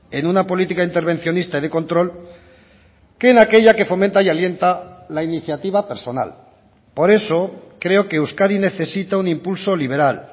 en una política intervencionista de control que en aquella que fomenta y alienta la iniciativa personal por eso creo que euskadi necesita un impulso liberal